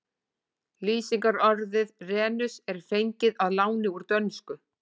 Lýsingarorðið renus er fengið að láni úr dönsku.